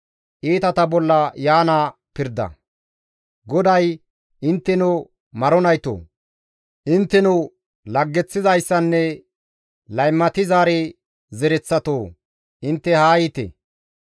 GODAY, «Intteno maro naytoo, intteno laggeththizayssanne laymatizaari zereththatoo, intte haa yiite.